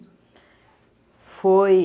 foi